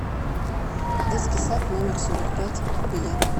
детский сад номер сорок пять билет